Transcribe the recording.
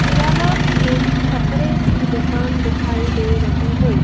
यह एक छपरे की दुकान दिखाई दे रही हैं।